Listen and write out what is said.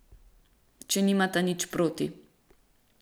Če nimata nič proti.